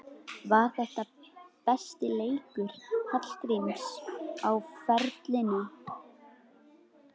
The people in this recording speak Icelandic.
Var þetta besti leikur Hallgríms á ferlinum?